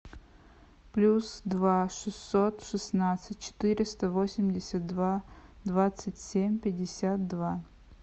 плюс два шестьсот шестнадцать четыреста восемьдесят два двадцать семь пятьдесят два